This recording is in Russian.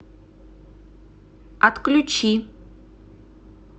отключи